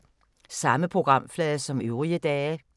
Samme programflade som øvrige dage